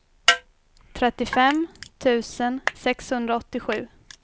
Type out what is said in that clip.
trettiofem tusen sexhundraåttiosju